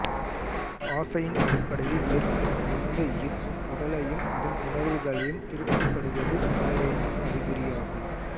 ஆசையின் அடிப்படையில் ஏற்படும் எந்த ஈர்ப்பும் உடலையும் அதன் உணர்வுகளையும் திருப்திப்படுத்துவது மாயையின் அறிகுறியாகும்